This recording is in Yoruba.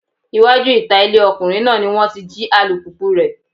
Iwájú ìta ilé ọkùnrin náà ni wọ́n ti jí alùpùpùu rẹ̀.